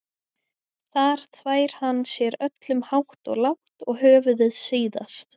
Þar þvær hann sér öllum hátt og lágt og höfuðið síðast.